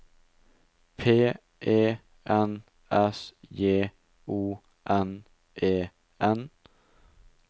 P E N S J O N E N